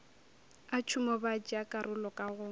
a tšhomo batšeakarolo ka go